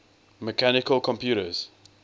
mechanical computers